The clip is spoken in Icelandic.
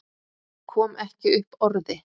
Kom ekki upp orði.